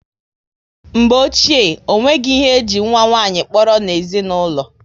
Mgbe ochie, o nweghị ihe eji nwa nwanyị kpọrọ n'ezinaulo